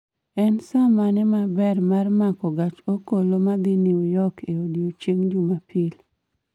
En saa mane maber ma mako gach okoloma dhi New York e odiechieng' jumapil